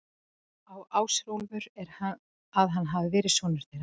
Á Ásólfur að hafa verið sonur þeirra.